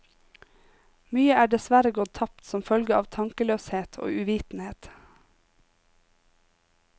Mye er dessverre gått tapt som følge av tankeløshet og uvitenhet.